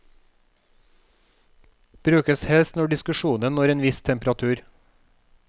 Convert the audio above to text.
Brukes helst når diskusjonen når en viss temperatur.